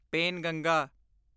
Penganga